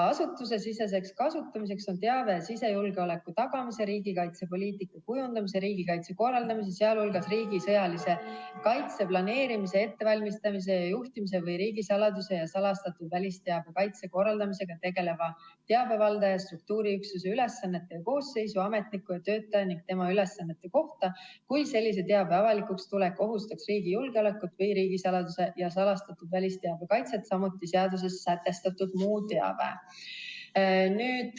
Asutusesiseseks kasutamiseks on teave sisejulgeoleku tagamise, riigikaitse poliitika kujundamise, riigikaitse korraldamise, sealhulgas riigi sõjalise kaitse planeerimise, ettevalmistamise ja juhtimise, või riigisaladuse ja salastatud välisteabe kaitse korraldamisega tegeleva teabevaldaja struktuuriüksuse ülesannete ja koosseisu, ametniku ja töötaja ning tema ülesannete kohta, kui sellise teabe avalikuks tulek ohustaks riigi julgeolekut või riigisaladuse ja salastatud välisteabe kaitset, samuti seaduses sätestatud muu teave.